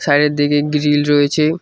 Side -এর দিকে grill রয়েছে।